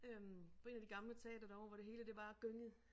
Øh på 1 af de gamle teatre derovre hvor det hele det bare gyngede